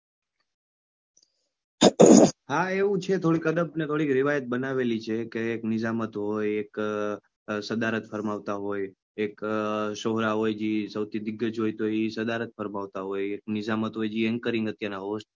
હા એવું છે થોડીક અદબ અને થોડીક રિવાયત બનાવેલી છે કે એક નિઝામ હતો એક સદારત ફરમાવતા હોય એક સોહરા હોય જે સૌથી દીગજ હોય તો એ સદારત ફરમાવતા હોય એક નિઝામ હોય જે anchoring અત્યારના host